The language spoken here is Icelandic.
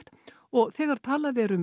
og þegar talað er um